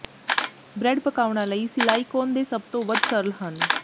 bread ਪਕਾਉਣਾ ਲਈ silicone ਦੇ ਸਭ ਤੋਂ ਵੱਧ ਸਰਲ ਹਨ